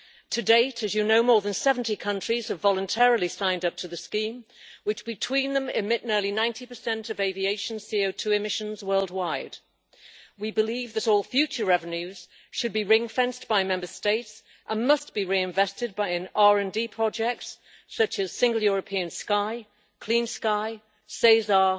To date, as you know, more than 70 countries have voluntarily signed up to the scheme, which between them emit nearly 90 of aviation CO2 emissions worldwide. We believe that all future revenues should be ring fenced by Member States, and must be reinvested by an RD project, such as Single European Sky, Clean Sky, SESAR